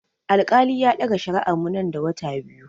Alkali ya ɗaga shari'ar mu nan da wata biyu.